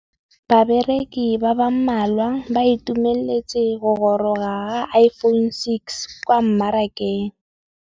Bareki ba ba malwa ba ituemeletse go gôrôga ga Iphone6 kwa mmarakeng.